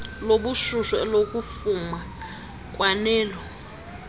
lobushushu elokufuma kwanelo